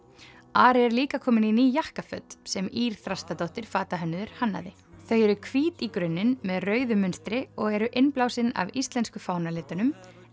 Ari er líka kominn í ný jakkaföt sem Ýr Þrastardóttir fatahönnuður hannaði þau eru hvít í grunninn með rauðu mynstri og eru innblásin af íslensku fánalitunum